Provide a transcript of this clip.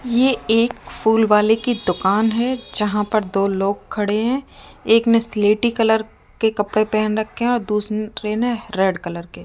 ये एक फूल वाले की दुकान है जहां पर दो लोग खड़े हैं एक ने स्लेटी कलर के कपड़े पहन रखे और दूसरे ने रेड कलर के --